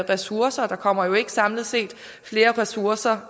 ressourcer der kommer jo ikke samlet set flere ressourcer